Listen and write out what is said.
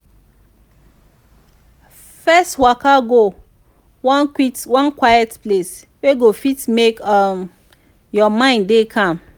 first waka go one quiet place wey go fit mek um yur mind dey calm